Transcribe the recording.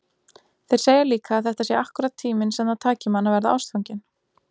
Þeir segja líka að þetta sé akkúrat tíminn sem það taki mann að verða ástfanginn.